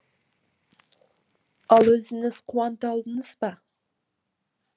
ал өзіңіз қуанта алдыңыз ба